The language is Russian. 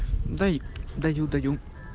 давай даю даю